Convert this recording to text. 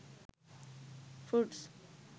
fruits